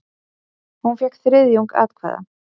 Hún fékk þriðjung atkvæða.